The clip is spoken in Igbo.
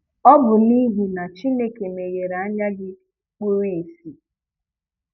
Ọ bụ nihi na Chineke meghere anya gị kpuru ìsì.